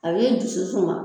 A b'i dusu suma